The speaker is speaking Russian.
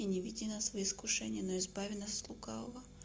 и не веди нас во искушение но избави нас от лукавого